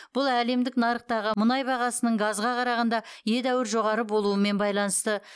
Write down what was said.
бұл әлемдік нарықтағы мұнай бағасының газға қарағанда едәуір жоғары болуымен байланысты